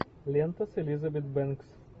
лента с элизабет бэнкс